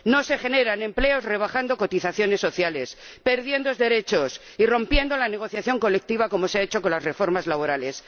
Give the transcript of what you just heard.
No se generan empleos rebajando cotizaciones sociales, perdiendo derechos y rompiendo la negociación colectiva como se ha hecho con las reformas laborales.